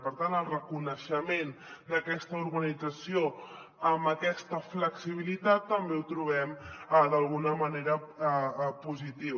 per tant el reconeixement d’aquesta organització amb aquesta flexibilitat també el trobem d’alguna manera positiu